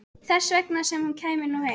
Þess vegna sem hún kæmi nú heim.